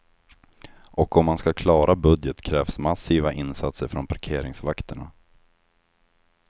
Och om man ska klara budget krävs massiva insatser från parkeringsvakterna.